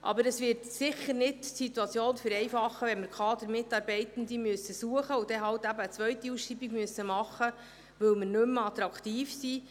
Aber, es wird die Situation sicher nicht vereinfachen, wenn wir Kadermitarbeitende suchen müssen und dann eben eine zweite Ausschreibung machen müssen, weil wir nicht mehr attraktiv sind.